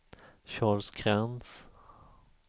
Charles Krantz